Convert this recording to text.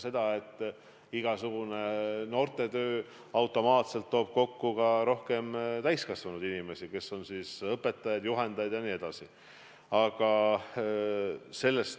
Ja igasugune noortetöö automaatselt toob rohkem kokku ka täiskasvanud inimesi, kes on nende õpetajad, juhendajad jne.